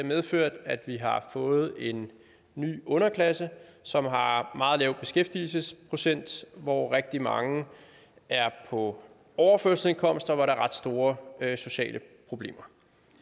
medført at vi har fået en ny underklasse som har meget lav beskæftigelsesprocent hvor rigtig mange er på overførselsindkomst og hvor der er ret store sociale problemer